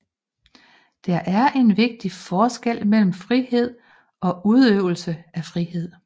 Der er en vigtig forskel mellem frihed og udøvelse af frihed